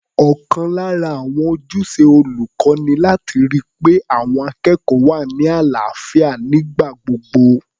Ọ̀kan lára àwọn ojúṣe olùkọ́ ni láti ri pé àwọn akẹ́kọ̀ọ́ wà ní àlàáfíà nígbà gbogbo.